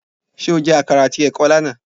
Ṣé o jẹ àkàrà àti ẹ̀kọ lánàá?